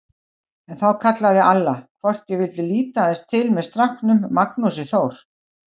En þá kallaði Alla, hvort ég vildi líta aðeins til með stráknum Magnúsi Þór.